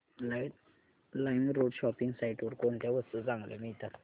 LimeRoad shopping site वर कोणत्या वस्तू चांगल्या मिळतात